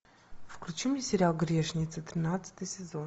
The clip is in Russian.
включи мне сериал грешницы тринадцатый сезон